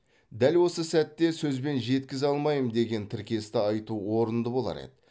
дәл осы сәтте сөзбен жеткізе алмаймын деген тіркесті айту орынды болар еді